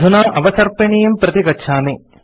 अधुना अवसर्पिणीं प्रति गच्छामि